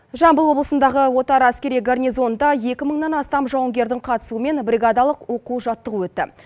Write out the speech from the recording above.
жамбыл облысындағы отар әскери горнизонында екі мыңнан астам жауынгердің қатысуымен бригадалық оқу жаттығу өтті